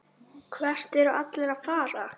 Hvert eru allir að fara?